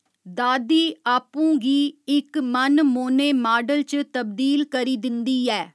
दादी आपूं गी इक मन मोह्‌ने माडल च तब्दील करी दिंदी ऐ।